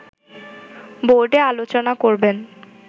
বোর্ডে আলোচনা করবেন